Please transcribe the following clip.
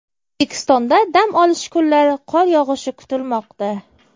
O‘zbekistonda dam olish kunlari qor yog‘ishi kutilmoqda.